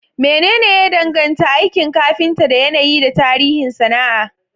Menene ya danganta aikin kafinta da yanayi da tarihin sana'a?